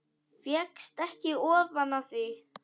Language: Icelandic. Fékkst ekki ofan af því.